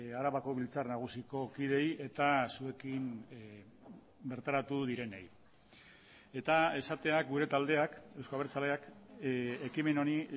arabako biltzar nagusiko kideei eta zuekin bertaratu direnei eta esatea gure taldeak euzko abertzaleak ekimen honi